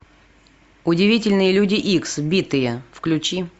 удивительные люди икс битые включи